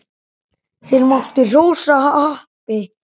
Þeir máttu hrósa happi.